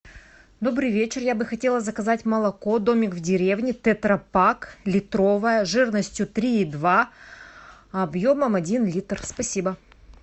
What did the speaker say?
добрый вечер я бы хотела заказать молоко домик в деревне тетрапак литровое жирностью три и два объемом один литр спасибо